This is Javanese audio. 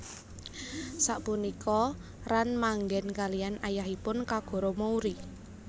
Sapunika Ran manggen kaliyan ayahipun Kogoro Mouri